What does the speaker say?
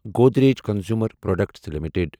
Godrej Consumer Products limited